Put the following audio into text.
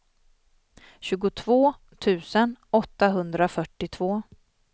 tjugotvå tusen åttahundrafyrtiotvå